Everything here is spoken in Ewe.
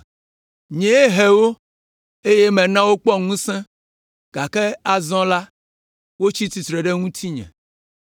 Nyee he wo, eye mena wokpɔ ŋusẽ, gake azɔ la, wotsi tsitre ɖe ŋutinye.